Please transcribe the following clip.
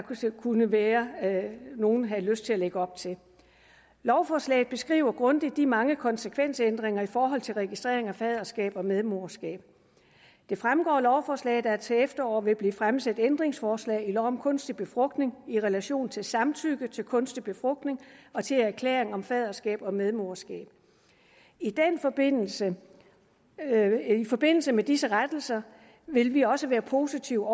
kunne være at nogle havde lyst til at lægge op til lovforslaget beskriver grundigt de mange konsekvensændringer i forhold til registrering af faderskab og medmoderskab det fremgår af lovforslaget at der til efteråret vil blive fremsat ændringsforslag i lov om kunstig befrugtning i relation til samtykke til kunstig befrugtning og til erklæring om faderskab og medmoderskab i forbindelse forbindelse med disse rettelser vil vi også være positive